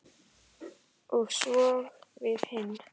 Og svo við hin.